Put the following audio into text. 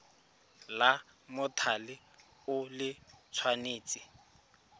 la mothale o le tshwanetse